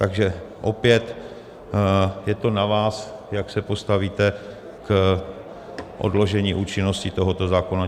Takže opět je to na vás, jak se postavíte k odložení účinnosti tohoto zákona.